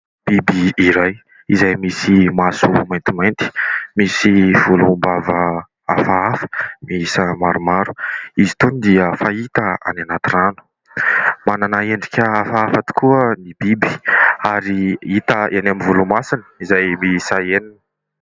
Biby iray: izay misy maso maintimainty, misy volom-bava hafahafa, miisa maromaro. Izy itony dia fahita any anaty rano. Manana endrika hafahafa tokoa ny biby, ary hita eny amin'ny volomasony izay miisa enina.